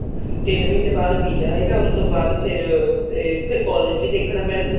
ਤਿੰਨ ਮਹੀਨੇ ਬਾਅਦ visa ਆਏਗਾ ਉਸ ਤੋਂ ਬਾਅਦ ਫ਼ੇਰ collage ਵੀ ਦੇਖਣਾ ਪੈਣਾ